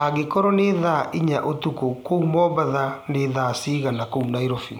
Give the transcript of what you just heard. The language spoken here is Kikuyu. angĩkorwo ni thaa ĩnyaũtũkũ kũũ mombatha nĩ thaa cĩĩgana kũũ nairobi